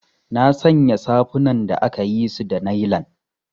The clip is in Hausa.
Nasanya safunan da akayisu da nailan.